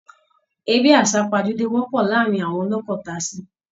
Eré àsàpajúdé wọpọ̀ láàárin àwọn ọlọ́kọ tasí